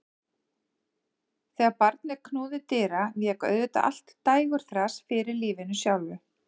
Þegar barnið knúði dyra vék auðvitað allt dægurþras fyrir lífinu sjálfu.